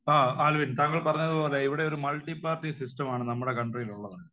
ആ ആൽവിൻ താങ്കൾ പറഞ്ഞത് പോലെ ഇവിടെ ഒരു മൾട്ടി പാർട്ടി സിസ്റ്റം ആണ് നമ്മുടെ കൺട്രിയിലുള്ളത്.